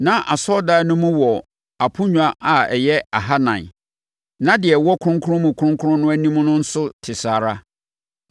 Na asɔredan no mu wɔ aponnwa a ɛyɛ ahanan, na deɛ ɛwɔ Kronkron Mu Kronkron no anim no nso te saa ara.